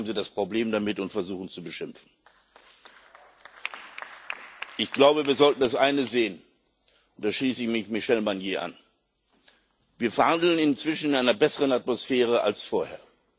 Jetzt haben sie das Problem damit und versuchen, uns zu beschimpfen. Wir sollten das eine sehen, und da schließe ich mich Michel Barnier an Wir verhandeln inzwischen in einer besseren Atmosphäre als vorher.